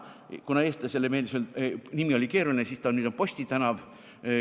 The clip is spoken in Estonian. Kuna eestlasele oli see nimi keeruline, siis nüüd on see Posti tänav.